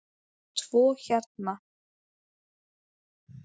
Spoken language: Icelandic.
Tvo héra